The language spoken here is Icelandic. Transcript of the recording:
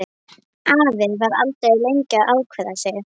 Afi var aldrei lengi að ákveða sig.